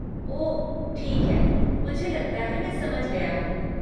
ओह ठीक है, मुझे लगता है मैं समझ गया हूँ।